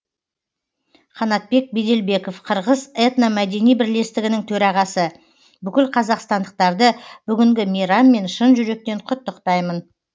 қанатбек беделбеков қырғыз этномәдени бірлестігінің төрағасы бүкіл қазақстандықтарды бүгінгі мейраммен шын жүректен құттықтаймын